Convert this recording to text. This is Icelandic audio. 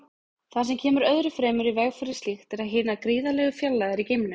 Það sem kemur öðru fremur í veg fyrir slíkt eru hinar gríðarlegu fjarlægðir í geimnum.